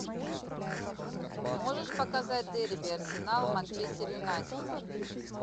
можешь показать дерби арсенал манчестер юнайтед